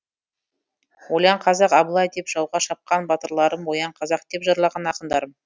ойлан қазақ абылай деп жауға шапқан батырларым оян қазақ деп жырлаған ақындарым